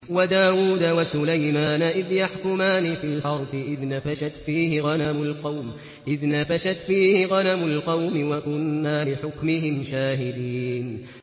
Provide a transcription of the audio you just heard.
وَدَاوُودَ وَسُلَيْمَانَ إِذْ يَحْكُمَانِ فِي الْحَرْثِ إِذْ نَفَشَتْ فِيهِ غَنَمُ الْقَوْمِ وَكُنَّا لِحُكْمِهِمْ شَاهِدِينَ